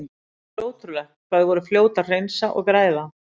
Það var ótrúlegt hvað þau voru fljót að hreinsa og græða.